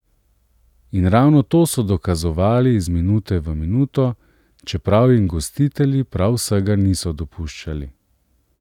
In ravno to so dokazovali iz minute v minuto, čeprav jim gostitelji prav vsega niso dopuščali.